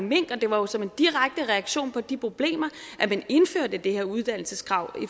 mink og det var jo som en direkte reaktion på de problemer at man indførte det her uddannelseskrav